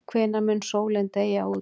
Hvenær mun sólin deyja út?